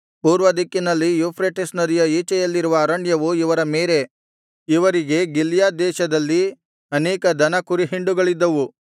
ಪೂರ್ವ ದಿಕ್ಕಿನಲ್ಲಿ ಯೂಫ್ರೆಟಿಸ್ ನದಿಯ ಈಚೆಯಲ್ಲಿರುವ ಅರಣ್ಯವು ಇವರ ಮೇರೆ ಇವರಿಗೆ ಗಿಲ್ಯಾದ್ ದೇಶದಲ್ಲಿ ಅನೇಕ ದನ ಕುರಿಹಿಂಡುಗಳಿದ್ದವು